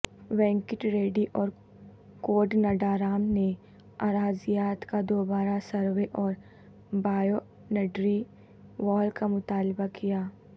وینکٹ ریڈی اور کودنڈارام نے اراضیات کا دوبارہ سروے اور بائونڈری وال کا مطالبہ کیا